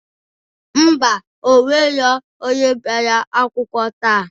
Ḿbà,o nwero onye bịara akwụkwọ taa.